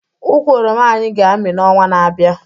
Ukwu oroma anyị ga-amị n'ọnwa na-abịa